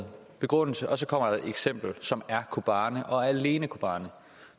begrundelse og så kommer der et eksempel som er kobane og alene kobane